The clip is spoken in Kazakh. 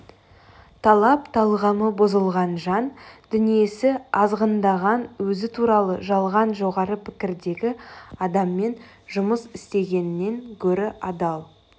талап талғамы бұзылған жан дүниесі азғындаған өзі туралы жалған жоғары пікірдегі адаммен жұмыс істегеннен гөрі адал